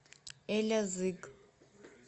элязыг